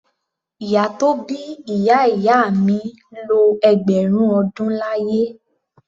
Ìyá tó bí ìyá ìyá mi lo ẹgbẹ̀rún ọdún láyé.